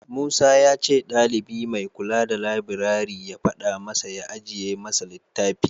Musa ya ce ɗalibi mai kula da labirari ya faɗa masa ya ajiye masa littafi.